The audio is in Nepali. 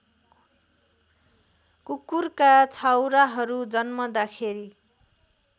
कुकुरका छाउराहरू जन्मदाखेरि